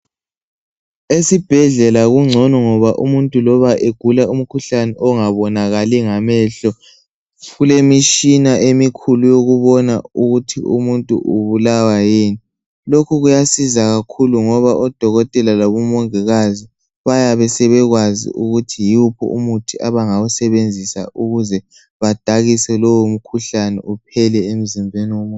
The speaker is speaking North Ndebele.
Esibhedlela kungcono loba umuntu egula umkhuhlane ongabonakali ngamehlo kulemishina emikhulu ebona ukuthi umuntu ubulawa yini. Lokhu kuyasiza kakhulu ngoba odokotela labo mongikazi bayabe sebekwazi ukuthi yiwuphi umuthi abangawusebenzisa ukuthi badakise lo mkhuhlane uphele emzimbeni womuntu.